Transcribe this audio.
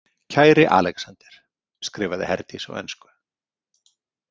Kæri Alexander, skrifaði Herdís á ensku.